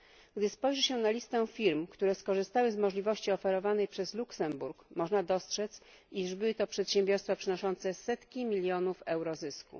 Gdy spojrzy się na listę firm, które skorzystały z możliwości oferowanych przez Luksemburg, można dostrzec, iż były to przedsiębiorstwa przynoszące setki milionów euro zysku.